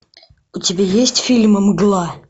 у тебя есть фильм мгла